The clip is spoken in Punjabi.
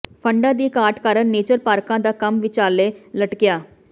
ਫੰਡਾਂ ਦੀ ਘਾਟ ਕਾਰਨ ਨੇਚਰ ਪਾਰਕਾਂ ਦਾ ਕੰਮ ਵਿਚਾਲੇ ਲਟਕਿਆ